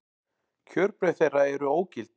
Kjörbréf þeirra eru ógild